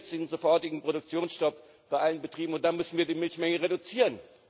Jetzigen und sofortigen Produktionsstopp bei allen Betrieben, und dann müssen wir die Milchmenge reduzieren.